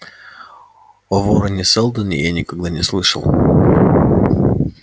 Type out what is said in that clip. о вороне-сэлдоне я никогда и не слышал